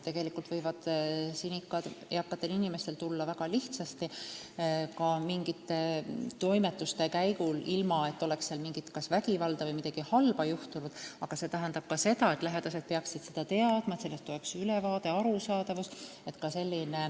Tegelikult võivad eakatel inimestel sinikad tulla väga lihtsasti, ka mingite toimetuste käigus, ilma et oleks olnud mingit vägivalda või juhtunud midagi halba, aga lähedased peaksid seda teadma, sellest peaks olema ülevaade.